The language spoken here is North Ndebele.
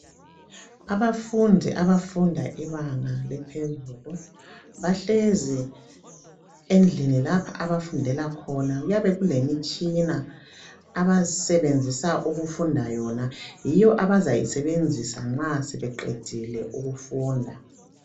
Abafundi abafunda ibanga laphezulu, bahlezi endlini lapha abafundela khona, kuyabe kulemitshina abasebenzisa ukufunda yona. Yiyo abazayisebenzisa nxa sebeqedile ukufunda